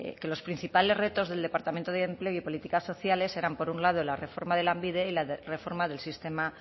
que los principales retos del departamento de empleo y políticas sociales eran por un lado la reforma de lanbide y la reforma del sistema